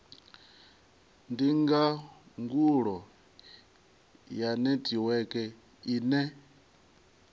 ndi ndangulo ya netiweke ine